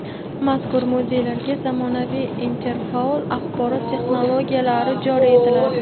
Mazkur muzeylarga zamonaviy interfaol axborot-texnologiyalari joriy etiladi.